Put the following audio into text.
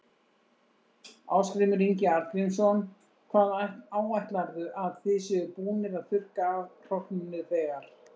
Ásgrímur Ingi Arngrímsson: Hvað áætlarðu að þið séuð búnir að þurrka af hrognum nú þegar?